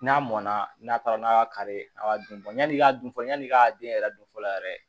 N'a mɔnna n'a taara n'a y'a kari a b'a dun yanni i ka dun fɔlɔ yanni i ka den yɛrɛ don fɔlɔ yɛrɛ